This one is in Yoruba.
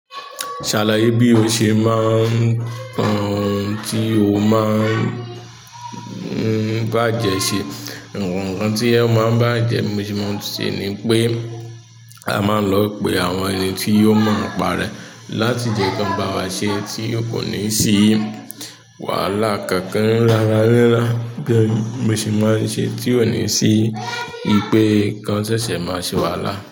Ṣàlàyé bí o ṣe máa ń kó ohun tí o máa ń bàjẹ́ ṣé àwọn ohun tí ó bàjẹ́, bí mo ṣe má ń túnṣe nípé ama lo pè àwọn ẹniti ó mo nípa rẹ̀ láti lè bá wa ṣe tí kò ní sí wàhálà kankan rararara. Gẹ́gẹ́ bí mo ṣe máa ń ṣe tí ò ní sí i pé nǹkan ṣẹṣẹ máa ṣe wàhálà.